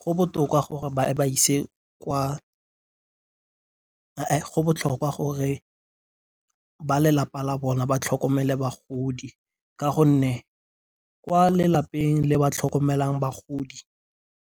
Go botlhokwa gore ba lelapa la bona ba tlhokomele bagodi ka gonne kwa lelapeng le ba tlhokomelang bagodi